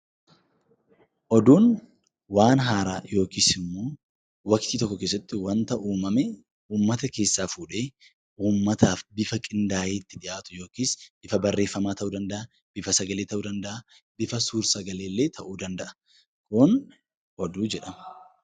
Oduun waan haaraa yookiis immoo waqtii tokko keessatti wanta uumame uummata keessaa fuudhee uummataaf bifa qindaa'ee itti dhiyaatu yookiis bifa barreeffamaa ta'uu danda'aa, bifa sagalee ta'uu danda'aa, bifa suursagalee illee ta'uu danda'a. Kun 'Oduu' jedhama.